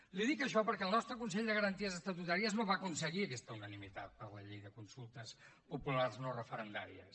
li dic això perquè el nostre consell de garanties estatutàries no va aconseguir aquesta unanimitat per a la llei de consultes populars no referendàries